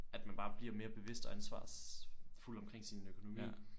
At man bare bliver mere bevidst og ansvarsfuld omkring sin økonomi